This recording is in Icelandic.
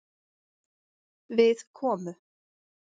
Við komu